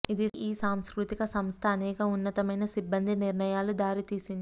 ఇది ఈ సాంస్కృతిక సంస్థ అనేక ఉన్నతమయిన సిబ్బంది నిర్ణయాలు దారితీసింది